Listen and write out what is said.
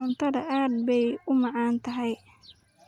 cuntada aad beey uu badantahy.